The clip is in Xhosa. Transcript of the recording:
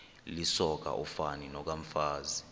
lisoka ufani nokomfazi